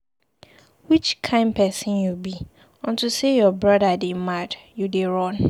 Which kin person you be? Unto say your brother dey mad, you dey run.